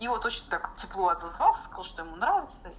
и он точно так тепло отозвался сказал что ему нравится